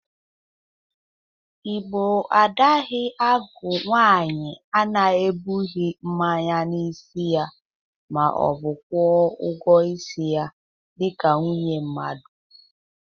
Igbo adaghị agụ nwaanyị a na-ebụghi mmanya n'isi ya ma ọ bụ kwọ ọgwọ isi ya dịka nwunye mmadụ.